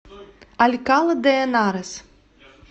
алькала де энарес